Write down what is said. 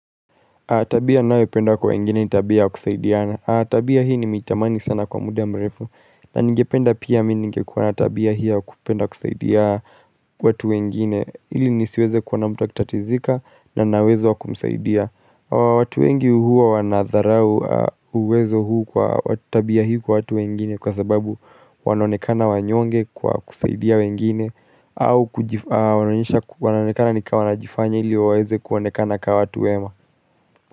Tabia nawe penda kwa wengine ni tabia wa kusaidiana. Tabia hii ni mitamani sana kwa muda mrefu. Na ngependa pia mi nigekwa natabia hii wa kupenda kusaidia watu wengine. Ili nisiweze kwa namuta kitatizika na nawezo wa kumsaidia. Watu wengi uhuwa wanadharau uwezo huu kwa watu tabia hii kwa watu wengine kwa sababu wanonekana wanyonge kwa kusaidia wengine. Au wanonekana ni kwa wanajifanya ili waweze kwa wanekana kwa watu wema.